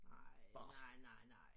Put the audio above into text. Ej nej nej nej